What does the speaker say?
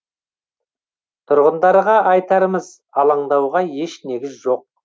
тұрғындарға айтарымыз алаңдауға еш негіз жоқ